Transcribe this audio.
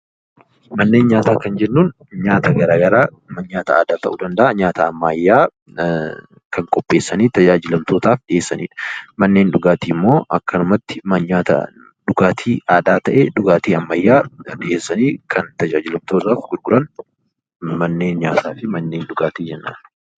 Manneen nyaata jechuun mana nyaataa garagaraa kan aadaa yookiin kan ammayyaa kan qopheessanii fayyadamtootaaf dhiheessanidha. Manneen dhugaatii immoo manneen dhugaatii aadaa yookiin ammayya fayyadamtootaaf dhiheessanidha. Isaan Kun manneen nyaata fi dhugaatii jennaan.